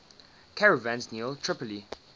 caravans near tripoli